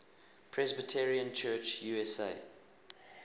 presbyterian church usa